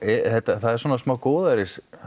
það er svona smá góðæris